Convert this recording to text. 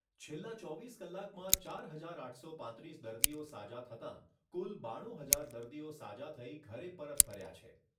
છેલ્લા ચોવીસ કલાકમાં ચાર હજાર આઠસો પાંત્રીસ દર્દીઓ સાજા થતાં કુલ બાણું હજાર દર્દીઓ સાજા થઈ ઘરે પરત ફર્યા છે.